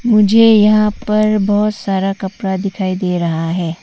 मुझे यहां पर बहोत सारा कपड़ा दिखाई दे रहा है।